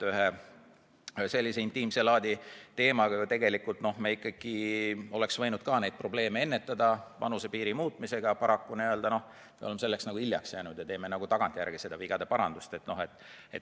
Ühe sellise intiimset laadi teema puhul me ikkagi oleks võinud ka neid probleeme ennetada vanusepiiri muutmisega, paraku oleme sellega hiljaks jäänud ja teeme tagantjärgi seda vigade parandust.